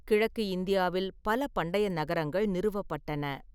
கிழக்கு இந்தியாவில் பல பண்டைய நகரங்கள் நிறுவப்பட்டன.